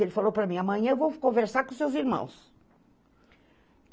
Ele falou para mim, amanhã eu vou conversar com os seus irmãos.